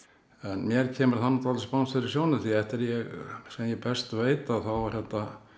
mér kemur það nú dálítið spánskt fyrir sjónir því eftir því sem ég best veit þá er þetta